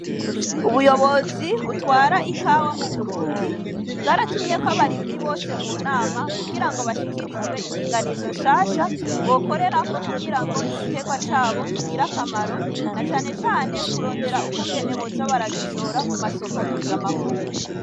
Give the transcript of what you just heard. Ubuyobozi butwara ikawa mu Burundi bwaratumyeko abarimyi bose mu nama kugira ngo bashikirizwe indinganizo nshasha bokorerako kugira ngo igiterwa cabo kigire akamaro na canecane kurondera ukungene boza baragishora ku masoko mpuzamakungu.